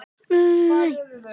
Þetta er ungt og leikur sér.